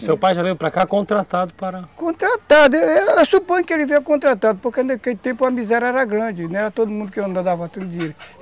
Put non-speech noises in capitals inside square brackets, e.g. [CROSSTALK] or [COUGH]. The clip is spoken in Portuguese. Seu pai já veio para cá contratado para... Contratado, eu eu suponho que ele veio contratado, porque naquele tempo a miséria era grande, né, não era todo mundo [UNINTELLIGIBLE]